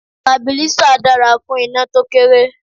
Stabilízà dára fún iná to kéré.